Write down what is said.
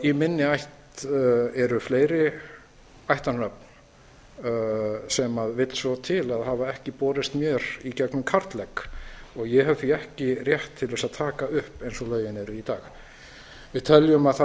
í minni ætt eru fleiri ættarnöfn sem vill svo til að hafi ekki borist mér í gegnum karllegg og ég hef því ekki rétt til að taka upp eins og lögin eru í dag